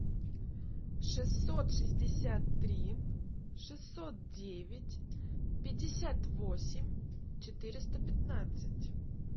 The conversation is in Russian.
шестьсот шестьдесят три шестьсот девять пятьдесят восемь четыреста пятнадцать